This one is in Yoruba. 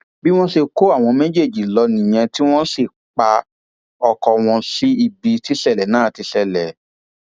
bí wọn ṣe kó àwọn méjèèjì lọ nìyẹn tí wọn sì pa ọkọ wọn sí ibi tíṣẹlẹ náà ti ṣẹlẹ